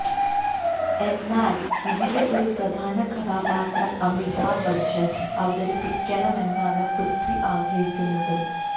എന്നാല് ഇതിലെ ഒരു പ്രധാന കഥാപാത്രം അമിതാബ് ബച്ചന് അവതരിപ്പിക്കണമെന്നാണ് പ്രിഥ്വി ആഗ്രഹിക്കുന്നത്